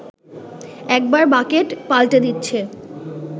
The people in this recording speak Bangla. একবার বাকেট পাল্টে দিচ্ছে